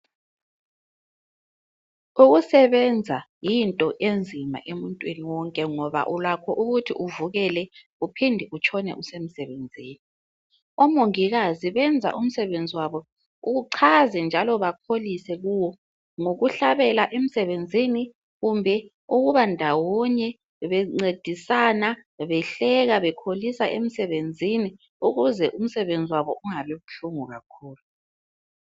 ukusebenza yinto enzima emuntwini wonke ngoba ulakho ukuthi uvukele uphinde utshonele usemsebenzini omongikazi benza msebenzi wabo uchaze njalo bakholise kuwo ngokuhlabela emsebenzini kumbe ukuba ndawonye benceisana behleka bekholisa emsebenzini ukuze umsebenzi wabo ungai buhlungu kakhulu